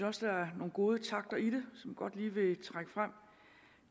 også der er nogle gode takter i det som jeg godt lige vil trække frem